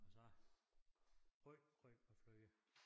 Og så rødgrød med fløde